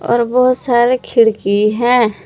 और वो सारे खिड़की है।